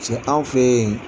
Cɛ aw fɛ yen